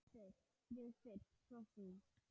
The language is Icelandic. Við fyrst, svo þú.